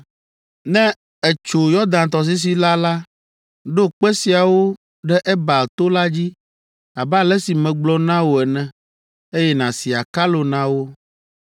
“Ne ètso Yɔdan tɔsisi la la, ɖo kpe siawo ɖe Ebal to la dzi, abe ale si megblɔ na wò ene, eye nàsi akalo na wo.